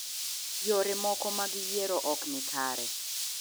Yore moko mag yiero ok ni kare.